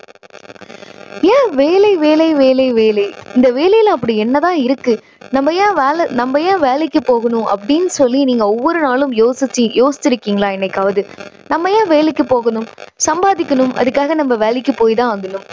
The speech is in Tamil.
ஏன் வேலை வேலை வேலை வேலை. இந்த வேலையில அப்படி என்ன தான் இருக்கு? நம்ம ஏன் வேலை நம்ம ஏன் வேலைக்கு போகணும் அப்படின்னு சொல்லி நீங்க ஒவ்வொரு நாளும் யோசிச்சு, யோசிச்சுருக்கீங்களா என்னைக்காவது? நம்ம ஏன் வேலைக்கு போகணும்? சம்பாதிக்கனும். அதுக்காக நம்ம வேலைக்கு போய் தான் ஆகணும்.